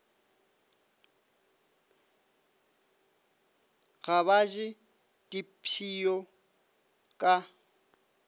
ga ba je dipshio ka